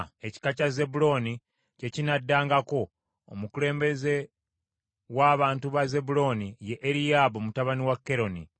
Ekika kya Zebbulooni kye kinaddangako. Omukulembeze w’abantu ba Zebbulooni ye Eriyaabu mutabani wa Keroni.